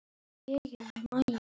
Edith Molnar spilar á milli.